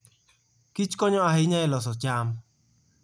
kichkonyo ahinya e loso cham.